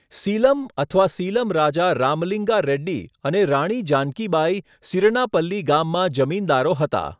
સીલમ અથવા સીલમ રાજા રામલિંગા રેડ્ડી અને રાણી જાનકી બાઇ સિરનાપલ્લી ગામમાં જમીનદારો હતા.